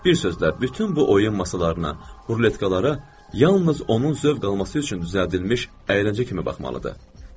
Bir sözlə, bütün bu oyun masalarına, ruletkalara yalnız onun zövq alması üçün düzəldilmiş əyləncə kimi baxılmalıdır.